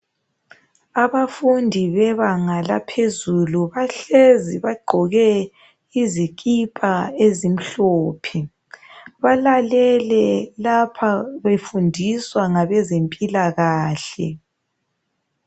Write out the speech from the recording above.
Abafundi bebanga laphezulu bahlezi bagqoke izikipa ezimhlophe, balalele lapha befundiswa ngabezempilakahle.